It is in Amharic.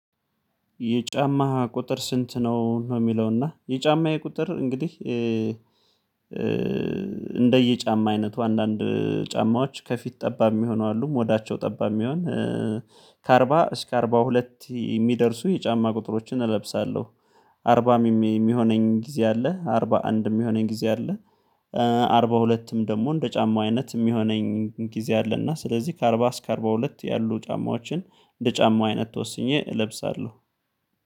የጫማ ቁጥር ስንት? ነው ነው የሚለው እና የጫማየ ቁጥር እንግዲህ እንደየጫማ አይነቱ አንዳንድ ጫማዎች ከፊት ጠባብ የሚሆኑ አሉ ሞዳቸው ጠባብ የሚሆን ከአርባ እስከ አርባ ሁለት የሚደርሱ የጫማ ቁጥሮችን እለብሳለሁ። አርባም የሚሆነኝ ጊዜ አለ አርባ አንድ የሚሆነኝ ጊዜ አለ። አርባ ሁለትም ደግሞ እንደ ጫማው አይነት የሚሆነኝ ጊዜ አለና ስለዚህ ከአርባ እስከ አርባ ሁለት ያሉ ጫማዎችን እንደ ጫማ አይነት ወስኜ እለብሳለሁ።